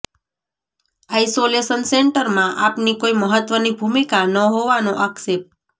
isolation સેન્ટરમાં આપની કોઈ મહત્વની ભૂમિકા ન હોવાનો આક્ષેપ